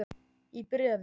Í bréfi